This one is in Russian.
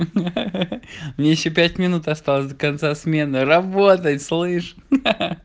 мне ещё пять минут осталось до конца смены работать слышишь